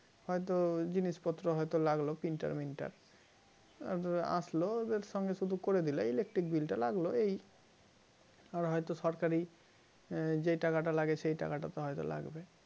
হয়তো জিনিসপত্র হয়তো লাগলো printer minter আর আসলো ওদের সঙ্গে শুধু করে দিলে electric bill টা লাগলো এই আর হয়তো সরকারি যে টাকাটা লাগে সেই টাকাটা হয়তো লাগবে